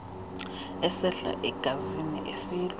esehla egazini esilwa